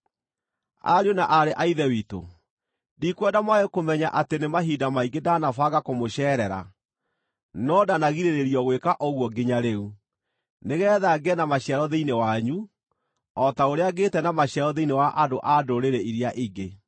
Ariũ na aarĩ a Ithe witũ, ndikwenda mwage kũmenya atĩ nĩ mahinda maingĩ ndanabanga kũmũceerera (no ndanagirĩrĩrio gwĩka ũguo nginya rĩu) nĩgeetha ngĩe na maciaro thĩinĩ wanyu, o ta ũrĩa ngĩĩte na maciaro thĩinĩ wa andũ-a-Ndũrĩrĩ iria ingĩ.